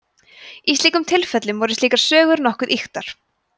í sumum tilfellum voru slíkar sögur nokkuð ýktar